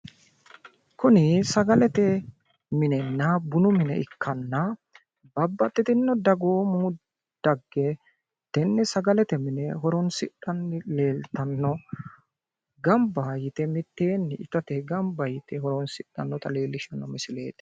Kuni sagalete minenna bunu mine ikkanna babbaxxitinno daggomu dagge tenne sagalete mine horoonsidhanni leeltanno. Gamba yite mitteenni itate gamba yite horoonsidhannota leellishshanno misileeti.